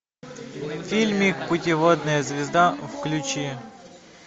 фильмик путеводная звезда включи